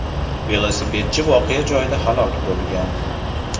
Velosipedchi voqea joyida halok bo‘lgan.